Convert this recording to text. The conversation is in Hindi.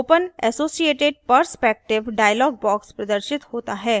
open associated perspective dialog box प्रदर्शित होता है